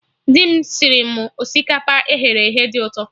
Dị m sịrị mụ osikapa eghere eghe dị ụtọ